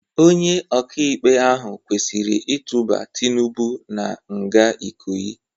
Onye ọka-ikpe ahụ kwesịrị itụba Tinubu na-nga Ikoyi.